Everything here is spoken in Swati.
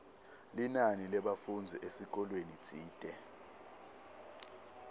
linani lebafundzi esikolweni tsite